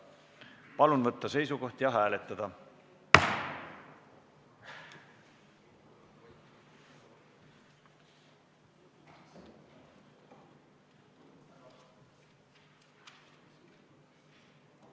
Palun võtta seisukoht ja hääletada!